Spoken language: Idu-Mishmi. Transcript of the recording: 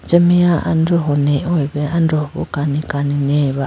ameya androho nehoye be androho kani kani neyay ba.